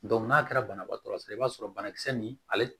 n'a kɛra banabaatɔ sɔrɔ i b'a sɔrɔ banakisɛ nin ale